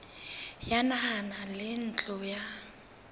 ya naha le ntlo ya